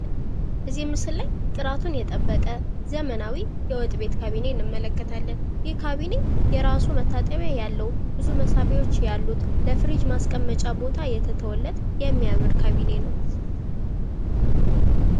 እዚህ ምስል ላይ ጥራቱን የጠበቀ ዘመናዊ የወጥ ቤት ካቢኔት እንመለከታለን ።ይህ ካቢኔ የራሱ መታጠቢያ ያለው ብዙ መሳብያዎች ያሉት። ለፍሪጅ ማስቀመጫ ቦታ የተተወለት የሚያምር ካቢኔ ነው።